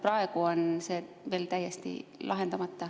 Praegu on see veel täiesti lahendamata.